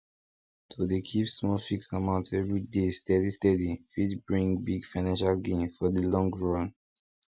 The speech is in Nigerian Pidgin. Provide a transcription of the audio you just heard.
to dey keep small fixed amount every day steady steady fit bring big financial gain for the long run